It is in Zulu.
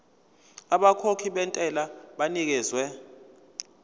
abakhokhi bentela banikezwa